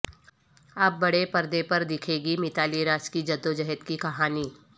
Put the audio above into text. اب بڑے پردے پر دیکھے گی میتالی راج کی جدوجہد کی کہانی